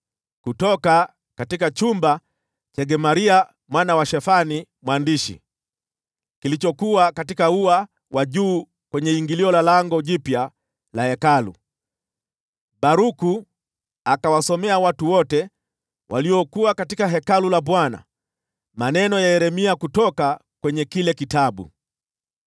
Kutoka chumba cha Gemaria mwana wa Shafani mwandishi, kilichokuwa katika ua wa juu kwenye ingilio la Lango Jipya la Hekalu, Baruku akawasomea watu wote waliokuwa katika Hekalu la Bwana maneno ya Yeremia kutoka kwenye kile kitabu.